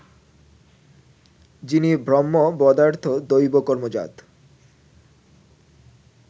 যিনি ব্রহ্মবধার্থ দৈবকর্মজাত